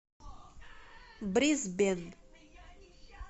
брисбен